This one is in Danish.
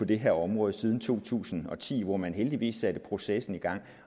det her område siden to tusind og ti hvor man heldigvis satte processen i gang